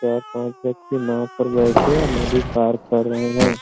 चार पांच व्यक्ति नाव पर बैठे हैं नदी पार कर रहे हैं।